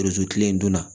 kile don na